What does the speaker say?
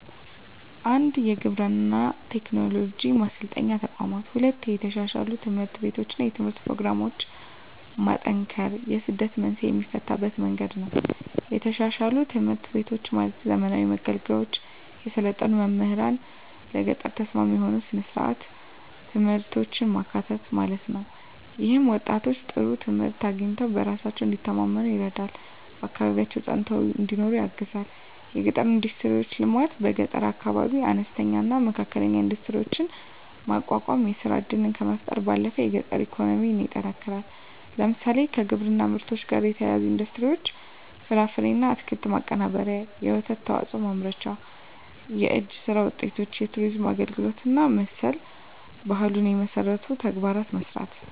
1. የግብርና ቴክኖሎጂ ማሰልጠኛ ተቋማት 2. የተሻሻሉ ትምህርት ቤቶችና የትምህርት ፕሮግራሞች ማጠናከር የስደት መንስኤን የሚፈታበት መንገድ ነው የተሻሻሉ ትምህርት ቤቶች ማለትም ዘመናዊ መገልገያዎች፣ የሰለጠኑ መምህራንና ለገጠር ተስማሚ የሆኑ ሥርዓተ ትምህርቶች ማካተት ማለት ነው። ይህም ወጣቶች ጥሩ ትምህርት አግኝተው በራሳቸው እንዲተማመኑ ይረዳልና በአካባቢያቸው ፀንተው እንዲኖሩ ያግዛል 3. የገጠር ኢንዱስትሪዎች ልማት በገጠር አካባቢዎች አነስተኛና መካከለኛ ኢንዱስትሪዎችን ማቋቋም የሥራ ዕድልን ከመፍጠር ባለፈ የገጠር ኢኮኖሚን ያጠናክራል። ለምሳሌ፣ ከግብርና ምርቶች ጋር የተያያዙ ኢንዱስትሪዎች (ፍራፍሬና አትክልት ማቀነባበሪያ፣ የወተት ተዋጽኦ ማምረቻ)፣ የእጅ ሥራ ውጤቶች፣ የቱሪዝም አገልግሎት እና መሠል ባህሉን የመሠሉ ተግባራትን መሥራት